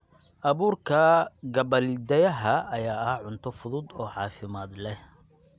Abuurka gabbaldayaha ayaa ah cunto fudud oo caafimaad leh.